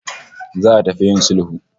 Za'a tafi yIn sulhu